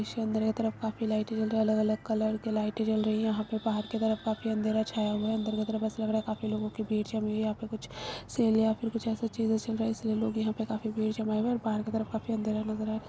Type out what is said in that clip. अंदर के तरफ काफी लाइटे जल रही हैं अलग अलग कलर के लाइटे जल रही हैं यहाँ पे बाहर की तरफ काफी अँधेरा छाया हुआ हैअन्दर की तरफ बस लग रहा है काफी लोगो की भीड़ जमी हुई है यहाँ पर कुछ सेल या फिर कुछ अइसा चीज चल रहा इसलिए लोग यहां पे काफी भीड़ जमाए हुए हैं और बाहर की तरफ काफी अँधेरा नज़र आ रहा है।